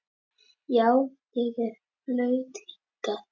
Já, ég er flutt hingað.